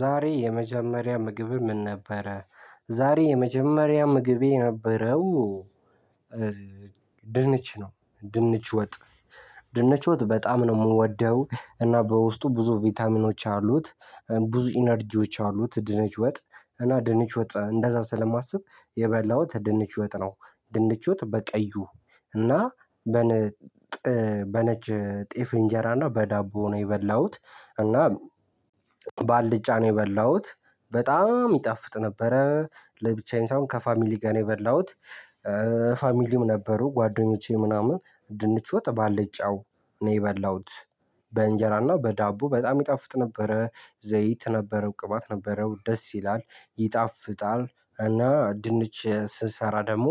ዛሬ የመጀመሪያ ምግብህ ምን ነበረ? ዛሬ የመጀመሪያ ምግቤ የነበረው። ድንች ነው ድንች ወጥ ድንች ወጥ በጣም የምወደው እና በውስጡ ብዙ ቪታሚኖች አሉት። ብዙ ኢነርጂዎች አሉት ድንች ወጥ እና ድንች ወጥ እንደዛ ስለማስብ የበላሁት ድንች ወጥ ነው። ድንች ወጥ በቀዩ እና በነ በነጭ ጤፍ እንጀራና በዳቦ ነው የበላሁት። እና ባልድጫ ነው የበላሁት በጣም ይጣፍጥ ነበረ ለብቻዬ ሳይሆን ከፋሚሊ ጋር ነው የበላሁት። ፋሚሊም ነበሩ ጓደኞቼ ምናምን ድንች ወጥ ባልጫው ነው የበላሁት። በእንጀራና በዳቦ በጣም ይጣፍጥ ነበረ ዘይት ነበረው ቅባት ነበረው ደስ ይላል ይጣፍጣል። እና ድንች ስሰራ ደግሞ